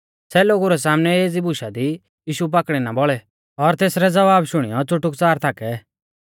सै लोगु रै सामनै एज़ी बुशा दी यीशु पाकड़ी ना बौल़ै और तेसरै ज़वाबा शुणियौ च़ुटुकच़ार थाकै